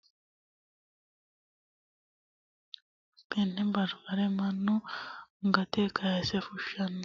Tini la'neemo misile leellishanohu mannu babaxxino garinni babaxitino sagalera horonsiranotta qaarete woyi baribarete yine su'minanni, tene baribare manu gate kaase fushano